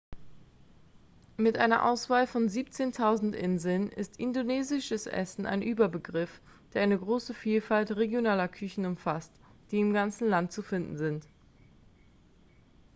mit einer auswahl von 17.000 inseln ist indonesisches essen ein überbegriff der eine große vielfalt regionaler küchen umfasst die im ganzen land zu finden sind